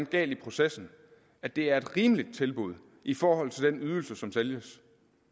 galt i processen at det er et rimeligt tilbud i forhold til den ydelse som sælges